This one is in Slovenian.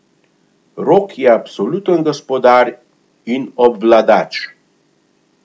Rok je absoluten gospodar in obvladač.